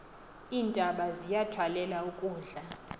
iintaba ziyithwalela ukudla